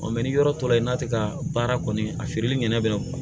ni yɔrɔ tora yen n'a te ka baara kɔni a feereli ɲɛnɛ bilen